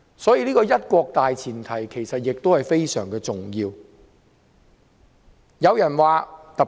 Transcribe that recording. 所以，"一國"的大前提其實是非常重要的。